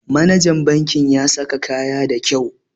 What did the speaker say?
Manajan banki ya saka kaya da kau